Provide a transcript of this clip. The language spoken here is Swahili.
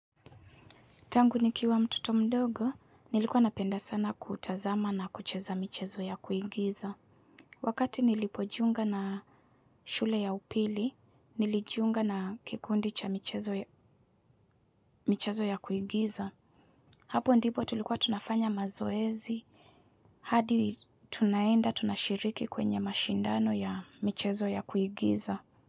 Tangu nikiwa mtoto mdogo, nilikuwa napenda sana kutazama na kucheza michezo ya kuigiza. Wakati nilipojiunga na shule ya upili, nilijiunga na kikundi cha michezo ya kuigiza. Hapo ndipo tulikuwa tunafanya mazoezi, hadi tunaenda tunashiriki kwenye mashindano ya michezo ya kuigiza.